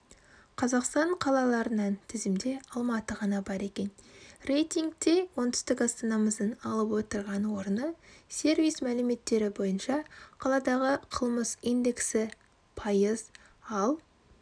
қазақстан қалаларынан тізімде алматыға ғана бар екен рейтингте оңтүстік астанамыздың алып отырған орны сервис мәліметтері бойынша қаладағы қылмыс индексі пайыз ал